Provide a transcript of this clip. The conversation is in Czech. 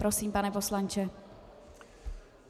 Prosím, pane poslanče.